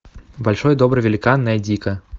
большой добрый великан найди ка